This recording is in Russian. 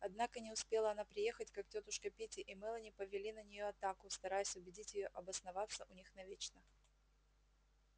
однако не успела она приехать как тётушка питти и мелани повели на нее атаку стараясь убедить её обосноваться у них навечно